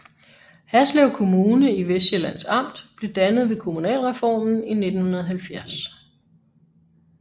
Haslev Kommune i Vestsjællands Amt blev dannet ved kommunalreformen i 1970